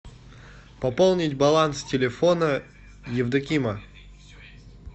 пополнить баланс телефона евдокима